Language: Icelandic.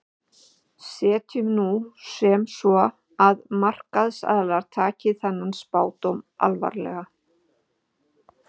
Setjum nú sem svo að markaðsaðilar taki þennan spádóm alvarlega.